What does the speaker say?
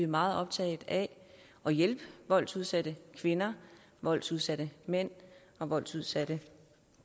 meget optaget af at hjælpe voldsudsatte kvinder voldsudsatte mænd og voldsudsatte